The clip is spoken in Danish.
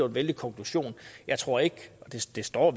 gevaldig konklusion jeg tror ikke og det står